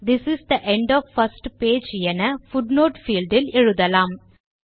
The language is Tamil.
this is the end of first page என பூட்னோட் பீல்ட் இல் எழுதலாம்